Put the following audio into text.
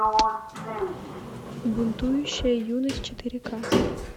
бунтующая юность четыре ка